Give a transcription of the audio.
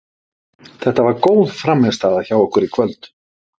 Þetta var góð frammistaða hjá okkur í kvöld.